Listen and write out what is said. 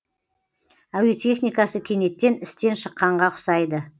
әуе техникасы кенеттен істен шыққанға ұқсайды